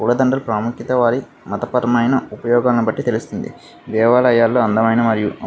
పూలదండలు ప్రాముఖ్యత వారి మతపరమైన ఉపయోగాలను బట్టి తెలుస్తుంది. దేవాలయాలు అందమైన మరియు --